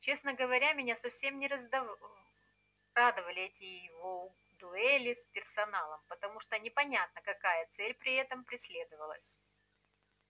честно говоря меня совсем не радовали эти его дуэли с персоналом потому что непонятно какая цель при этом преследовалась